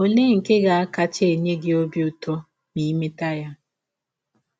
Ọlee nke ga - akacha enye gị ọbi ụtọ ma i mete ya?